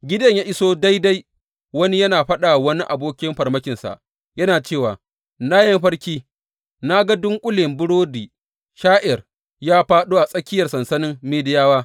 Gideyon ya iso daidai wani yana faɗa wa wani aboki mafarkinsa, yana cewa, Na yi mafarki, na ga dunƙule burodin sha’ir ya fāɗo a tsakiyar sansanin Midiyawa.